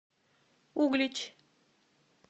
углич